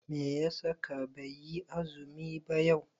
Meya saka baiyi azumi ba yau?